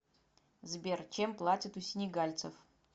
сбер чем платят у сенегальцев